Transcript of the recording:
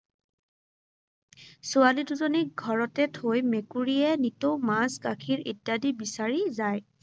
ছোৱালী দুজনীক ঘৰতে থৈ মেকুৰীয়ে নিতৌ মাছ-গাখীৰ ইত্যাদি বিচাৰি যায়।